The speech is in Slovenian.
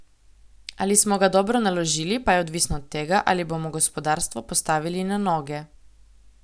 Ali smo ga dobro naložili, pa je odvisno od tega, ali bomo gospodarstvo postavili na noge.